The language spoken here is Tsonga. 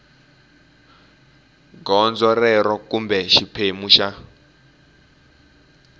gondzo rero kumbe xiphemu xa